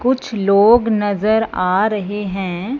कुछ लोग नजर आ रहे हैं।